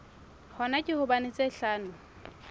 hona ke hobane tsa tlhaho